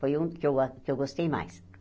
Foi um que eu a que eu gostei mais.